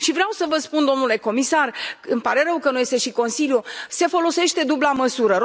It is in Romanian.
Vreau să vă spun, domnule comisar, îmi pare rău că nu este și Consiliul se folosește dubla măsură.